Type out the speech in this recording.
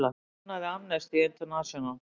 Hver stofnaði Amnesty International?